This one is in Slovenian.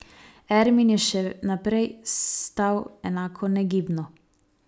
Ermin je še naprej stal enako negibno.